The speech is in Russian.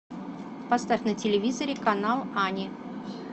поставь на телевизоре канал ани